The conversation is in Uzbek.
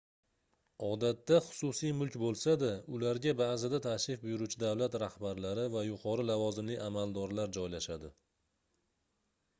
odatda xususiy mulk boʻlsa-da ularga baʼzida tashrif buyuruvchi davlat rahbarlari va yuqori lavozimli amaldorlar joylashadi